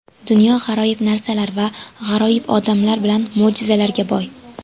Dunyo g‘aroyib narsalar va g‘aroyib odamlar bilan mo‘jizalarga boy.